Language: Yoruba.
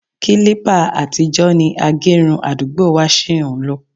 Kílípà àtijọ́ ni agẹrun àdúgbò wa ṣí ń lò